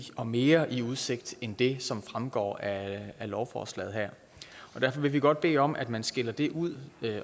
og mere i udsigt end det som fremgår af lovforslaget og derfor vil vi godt bede om at man skiller det ud